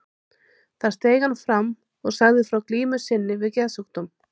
Þar steig hann fram og sagði frá glímu sinni við geðsjúkdóm.